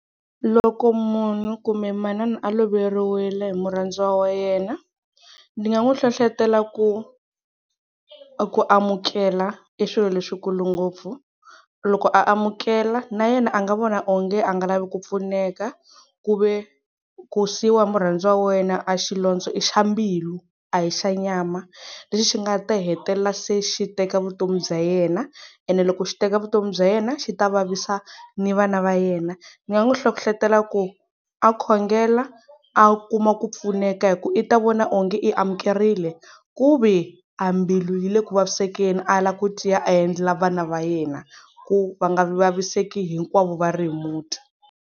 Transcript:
Loko munhu kumbe manana a loveriwile hi murhandziwa wa yena, ndzi nga n'wi hlohlotela ku ku amukela i swilo leswikulu ngopfu. Loko a amukela na yena a nga vona onge a nga lavi ku pfuneka, ku ve ku siyiwa hi murhandziwa wa wena a xilondza i xa mbilu, a hi xa nyama lexi xi nga ta hetelela se xi teka vutomi bya yena, ene loko xi teka vutomi bya yena xi ta vavisa ni vana va yena. Ndzi nga n'wi hlohlotela ku, a khongela a kuma ku pfuneka hi ku i ta vona onge i amukerile ku ve a mbilu yi le ku vaviseke a lava ku tiya a endlela vana va yena, ku va nga vaviseki hinkwavo va ri muti.